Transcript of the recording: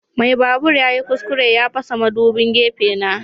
Mai babur yayi kuskure ya fasa madubin gefe na.